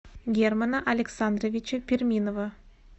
германа александровича перминова